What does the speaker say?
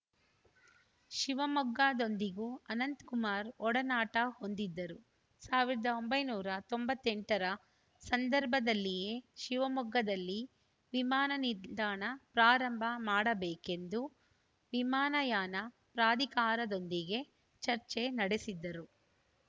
ಶಿವಮೊಗ್ಗದೊಂದಿಗೂ ಅನಂತಕುಮಾರ್‌ ಒಡನಾಟ ಹೊಂದಿದ್ದರು ಸಾವಿರದ ಒಂಬೈನೂರ ತೊಂಬತ್ತೆಂಟ ರ ಸಂದರ್ಭದಲ್ಲಿಯೇ ಶಿವಮೊಗ್ಗದಲ್ಲಿ ವಿಮಾನ ನಿಲ್ದಾಣ ಪ್ರಾರಂಭ ಮಾಡಬೇಕೆಂದು ವಿಮಾನಯಾನ ಪ್ರಾಧಿಕಾರದೊಂದಿಗೆ ಚರ್ಚೆ ನಡೆಸಿದ್ದರು